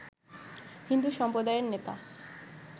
হিন্দু সম্প্রদায়ের নেতা